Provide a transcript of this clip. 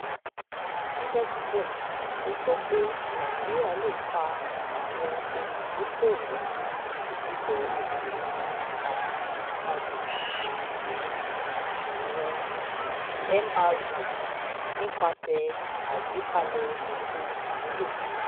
síbẹ̀síbẹ̀ ó sọ pé nàìjíríà lè fa àwọn olùdókòòwò ilẹ̀-òkèèrè àti ti agbègbè sí ìṣòwò mro nípasẹ̀ àgbékalẹ̀ ètò ìmúlò.